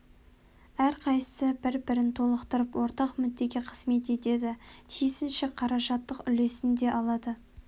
әрқайсысы бір-бірін толықтырып ортақ мүддеге қызмет етеді тиісінше қаражаттық үлесін де алады